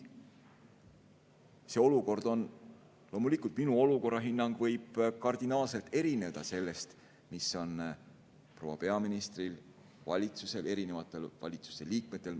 Loomulikult, minu olukorrahinnang võib kardinaalselt erineda sellest, mis on proua peaministril, valitsusel või valitsuse liikmetel.